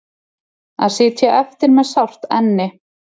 Að sitja eftir með sárt enni